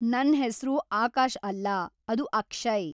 ನನ್ ಹೆಸ್ರು ಆಕಾಶ್‌ ಅಲ್ಲ, ಅದು ಅಕ್ಷಯ್‌.